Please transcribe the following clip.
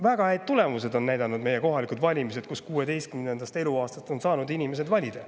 Väga häid tulemusi on näidanud meie kohalikud valimised, kus 16. eluaastast on inimesed saanud valida.